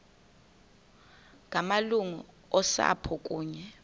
ngamalungu osapho kunye